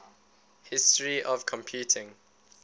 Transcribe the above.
history of computing